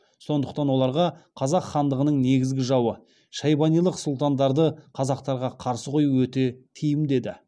сондықтан оларға қазақ хандығының негізгі жауы шайбанилық сұлтандарды қазақтарға қарсы қою өте тиімді еді